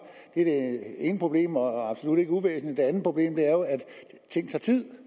det er det ene problem og absolut ikke uvæsentligt det andet problem er jo at ting tager tid